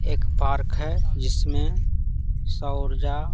एक पार्क है जिसमें सौर्जा--